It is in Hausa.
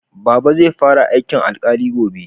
Baba zai fara aikin alkali gobe